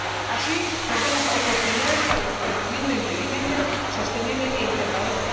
Así, perdemos oportunidades para el crecimiento inteligente, sostenible e integrador.